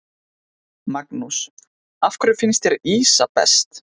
Magnús: Af hverju finnst þér ýsa best?